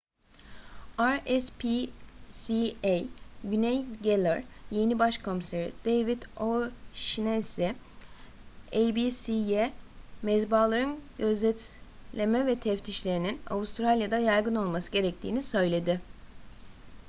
rspca güney galler yeni baş komiseri david o'shannessy abc'ye mezbahaların gözetleme ve teftişlerinin avustralya'da yaygın olması gerektiğini söyledi